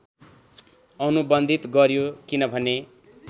अनुबन्धित गर्‍यो किनभने